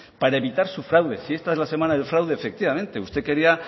para evitar su fraude si esta es la semana del fraude efectivamente usted quería